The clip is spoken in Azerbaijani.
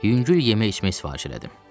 Yüngül yemək-içmək sifariş elədim.